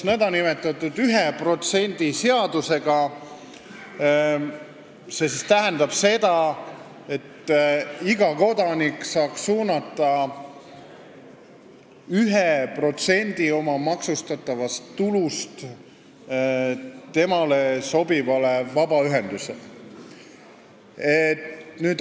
Tegemist on nn 1% seadusega, mis tähendab seda, et iga kodanik saaks suunata 1% oma maksustatavast tulust temale sobivale vabaühendusele.